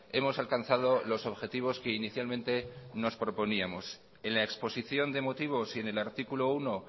hemos alcanzado los objetivos que inicialmente nos proponíamos en la exposición de motivos y en el artículo uno